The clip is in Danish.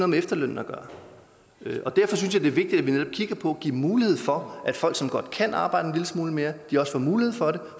med efterlønnen at gøre og derfor synes jeg det er vigtigt at vi netop kigger på at give mulighed for at folk som godt kan arbejde en lille smule mere også får mulighed for det